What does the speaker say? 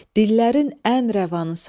Dillərin ən rəvanısan.